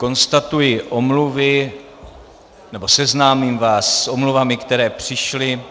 Konstatuji omluvy, nebo seznámím vás s omluvami, které přišly.